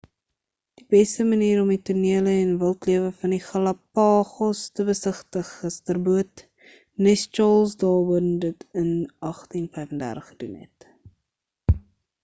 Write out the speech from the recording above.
die beste manier om die tonele en wildlewe van die galapagos te besigtig is ter boot nes charles darwin dit in 1835 gedoen het